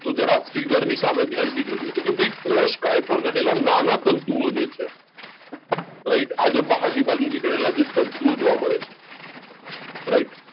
તો જરા figure ની સામે ધ્યાનથી જોજો કે ભાઈ કોષકાય પર રહેલા નાના તંતુ જે છે right આજે બહારની બાજુ નીકળેલા છે તંતુઓ જોવા મળે છે right